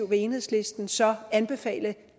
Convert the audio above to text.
vil enhedslisten så anbefale